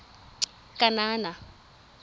kanana